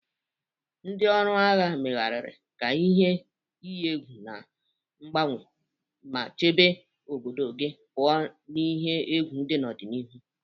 Ndị ọrụ agha, megharịa ka ihe iyi egwu na-agbanwe ma chebe obodo gị pụọ n'ihe egwu dị n'ọdịnihu.